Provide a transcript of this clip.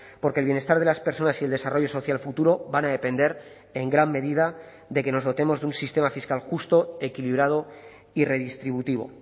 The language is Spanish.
porque el bienestar de las personas y el desarrollo social futuro van a depender en gran medida de que nos dotemos de un sistema fiscal justo equilibrado y redistributivo